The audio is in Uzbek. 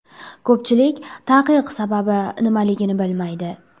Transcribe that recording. Ko‘pchilik taqiq sababi nimaligini bilmaydi.